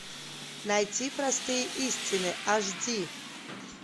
найти простые истины аш ди